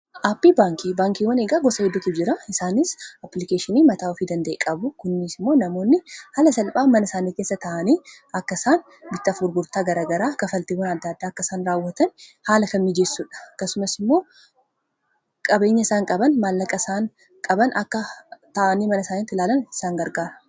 Aappii baankii baankiiwwan eegaa gosa hedduutuu jira isaanis applikeeshinii mataa ofii danda'e qabu kunniis immoo namoonni haala salphaan mana isaanii keessa ta'anii akka isaan bittaaf gurgurtaa garagaraa kanfaltiiwwan adda addaa akkaa isaan raawwatan haala kan miijeessuudha. Akkasummaas immoo qabeenya isaan qaban maallaqa isaan qaban akka ta'anii mana isaaniitti ilaalan isaan gargaaraa.